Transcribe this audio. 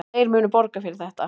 Þeir munu borga fyrir þetta.